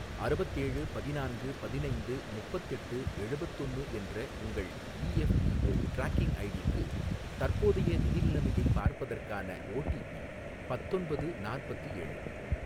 அறுபத்தேழு பதினான்கு பதினைந்து முப்பத்தெட்டு எழுபத்தொன்னு என்ற உங்கள் இஎஃப்பிஓ ட்ராக்கிங் ஐடி க்கு தற்போதைய நிதி நிலைமையை பார்ப்பதற்கான ஓடிபி பத்தொன்பது நாற்பத்தி ஏழு.